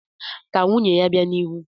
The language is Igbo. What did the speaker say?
Ka nwunye ya bịa n'ihu.